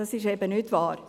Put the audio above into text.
das ist eben nicht wahr.